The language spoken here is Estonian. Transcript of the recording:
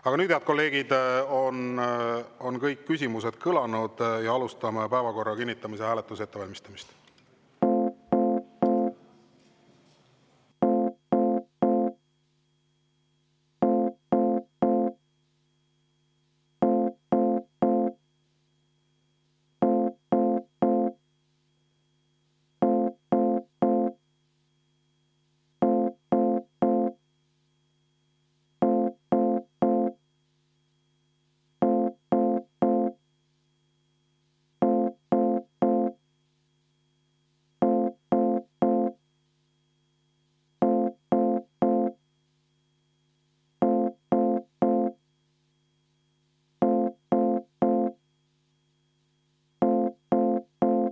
Aga nüüd, head kolleegid, on kõik küsimused kõlanud ja alustame päevakorra kinnitamise hääletuse ettevalmistamist.